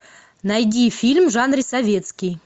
найди фильм в жанре советский